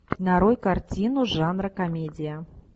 нарой картину жанра комедия